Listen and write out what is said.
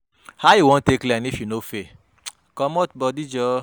How you wan take learn if you no fail, comot bodi joor.